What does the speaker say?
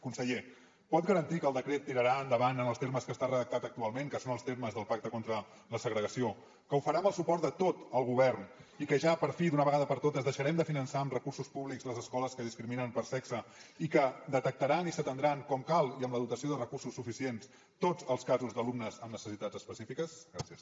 conseller pot garantir que el decret tirarà endavant en els termes que està redactat actualment que són els termes del pacte contra la segregació que ho farà amb el suport de tot el govern i que ja per fi d’una vegada per totes deixarem de finançar amb recursos públics les escoles que discriminen per sexe i que detectaran i s’atendran com cal i amb la dotació de recursos suficients tots els casos d’alumnes amb necessitats específiques gràcies